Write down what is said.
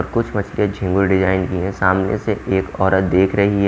और कुछ मछलियाँ झींगुर डिजाइन की हैं सामने से एक औरत देख रही है।